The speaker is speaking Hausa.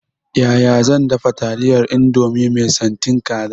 Yaya zan dafa taliyar indomie mai santin kaza?